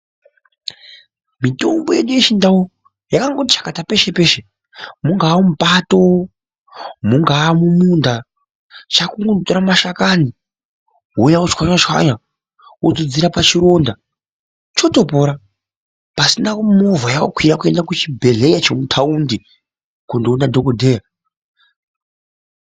Mitombo yedu yechindau yakangoti chakata peshe-peshe mungawa mupato, mungaa mumunda chako kungotora mashakani wouya wochwanya-chwanya wodzodzera pachironda chotopora pasina movha yawakwira kuenda kuchibhedhlera chemutaundi kundoona dhogodheya.